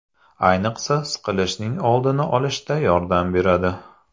Ayniqsa, siqilishning oldini olishda yordam beradi.